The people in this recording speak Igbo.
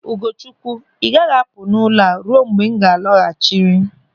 Ugochukwu, ị gaghị apụ n'ụlọ ruo mgbe m lọghachiri.